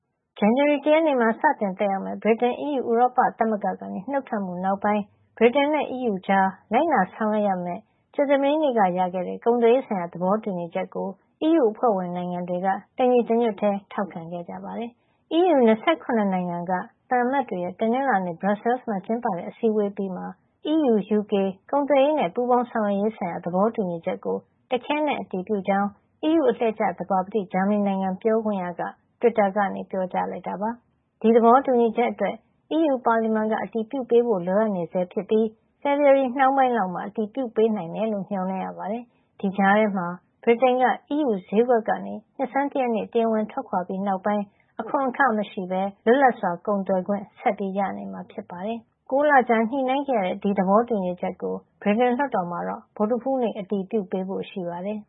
ဇန်နဝါရီလ ၁ ရက်နေ့မှာ စတင်သက်ရောက်မယ့် ဗြိတိန် အီးယူ ဥရောပသမဂ္ဂကနေ နုတ်ထွက်မှု နောက်ပိုင်း ဗြိတိန်နဲ့အီးယူကြား လိုက်နာဆောင်ရွက်ကြမယ့် ကြာသပတေးက ရခဲ့တဲ့ ကုန်သွယ်ရေးဆိုင်ရာ သဘောတူညီချက်ကို အီးယူအဖွဲ့ဝင် နိုင်ငံတွေက တနင်္လာနေ့မှာ တညီတညွတ်ထဲ ထောက်ခံခဲ့ကြပါတယ်။ အီးယူ ၂၇ နိုင်ငံက သံအမတ်တွေရဲ့ တနင်္လာနေ့ Brussels မှာ ကျင်းပတဲ့ အစည်းအဝေး အပြီးမှာ အီးယူ -UK ကုန်သွယ်ရေးနဲ့ ပူးပေါင်းဆောင်ရွက်ရေးဆိုင်ရာ သဘောတူညီချက်ကို တခဲနက် အတည်ပြုကြောင်း အီးယူအလှည့်ကျ သဘာပတိ ဂျာမဏီနိုင်ငံက ပြောခွင့်ရ Sebastian Fischer က တွစ်တာကနေ ပြောကြားလိုက်တာ ဖြစ်ပါတယ်။ ဒီသဘောတူညီချက်အတွက် အီးယူပါလီမန်က အတည်ပြုပေးဖို့ လိုအပ်နေဆဲ ဖြစ်ပြီး ဖေဖေါ်ဝါရီနှောင်းပိုင်း လောက်မှာ အတည်ပြုပေးနိုင်မယ်လို့ မေ ျှာ်လင့်ရပါတယ်။ ဒီကြားထဲမှာ ဗြိတိန်က အီးယူဈေးကွက်ကနေ နှစ်ဆန်း တရက်နေ့ တရားဝင်ထွက်ခွါ ပြီးနောက်ပိုင်း အခွန်ခမရှိပဲ လွတ်လပ်စွာ ကုန်သွယ်ခွင့် ဆက်ရနေမှာ ဖြစ်ပါတယ်။ ၉ လကြာညှိနှိုင်းခဲ့ရတဲ့ ဒီသဘောတူညီချက်ကို ဗြိတိန်လွှတ်တော်မှာတော့ ဗုဒ္ဓဟူးနေ့ အတည်ပြုပေးဖို့ ရှိပါတယ်